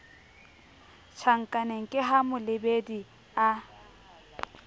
tjhankaneng ke ha molebedi a